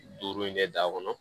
Duuru in kɛ da kɔnɔ